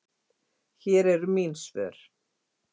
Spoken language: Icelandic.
Hér eru mín svör